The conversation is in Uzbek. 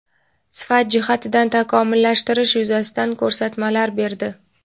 sifat jihatidan takomillashtirish yuzasidan ko‘rsatmalar berdi.